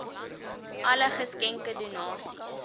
alle geskenke donasies